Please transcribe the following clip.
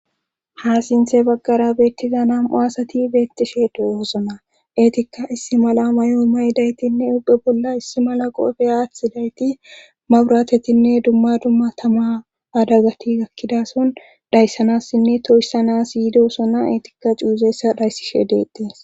ha sinthe baggara beettiza nam7u asati beettishe de7oosona eetikka issi mala may7o may daytinne ubbe bolla issi mala qoefe aath dayti ma buratetinne dumma dumma tama adagati gakkidason dayssanassinne toyissana yiidosona eetikka cuuzeessa dayssishe deetdees